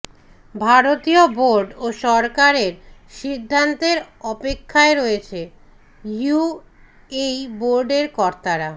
ভারতীয় বোর্ড ও সরকারের সিদ্ধান্তের অপেক্ষায় রয়েছে ইউএই বোর্ডের কর্তারা